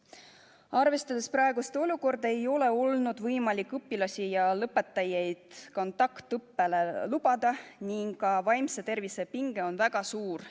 Arvestades praegust olukorda, ei ole olnud võimalik õpilasi, ka lõpetajaid kontaktõppele lubada ning ka vaimse tervise pinge on väga suur.